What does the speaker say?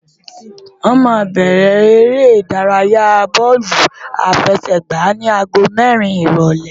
Wọ́n máa bẹ̀rẹ̀ eré ìdárayáa bóòlù àfẹsẹ̀gbá ní aago mẹ́rin ìrólé